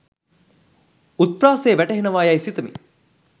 උත්ප්‍රාසය වැටහෙනවා යයි සිතමි.